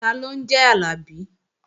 Taló ń jẹ́ Àlàbí?